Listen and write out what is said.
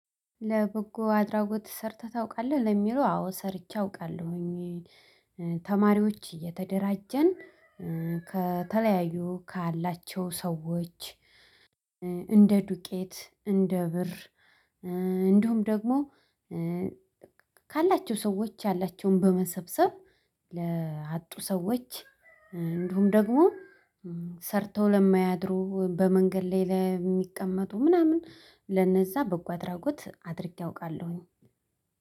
ለበጎ አድራጎት ሰርተህ ታውቃለህ ለሚለው አዎ ሰርቼ አውቃለሁኝ። ተማሪዎች እየተደራጀን ከተለያዩ ካላቸው ሰዎች። እንደ ዱቄት እንደ ብር እንዲሁም ደግሞ። ካላቸው ሰዎች ያላቸውን በመሰብሰብ ለአጡ ሰዎች። እንዲሁም ደግሞ ሰርተው ለማያድሩ በመንገድ ላይ ለሚቀመጡ ምናምን ለነዛ በጎ አድራጎት አድርጌ አውቃለሁኝ።